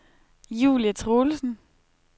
Julie Troelsen